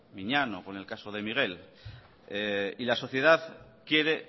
miñano o con el caso de miguel y la sociedad quiere